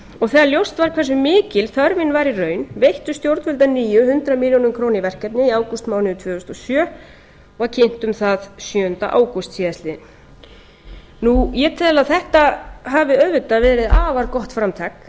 þegar ljóst var hversu mikil þörfin var í raun veittu stjórnvöld að nýju hundrað milljónir króna í verkefnið í ágústmánuði tvö þúsund og sjö var kynnt um það sjöunda ágúst síðastliðnum ég tel að þetta hafi auðvitað verið afar gott framtak